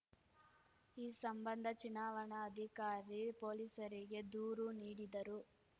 ಈ ಸಂಬಂಧ ಚುನಾವಣಾಧಿಕಾರಿ ಪೊಲೀಸರಿಗೆ ದೂರು ನೀಡಿದರು